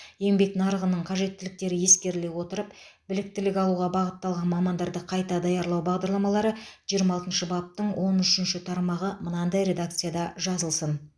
еңбек нарығының қажеттіліктері ескеріле отырып біліктілік алуға бағытталған мамандарды қайта даярлау бағдарламалары жиырма алтыншы баптың он үшінші тармағы мынадай редакцияда жазылсын